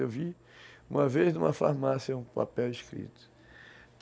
Eu vi uma vez numa farmácia um papel escrito.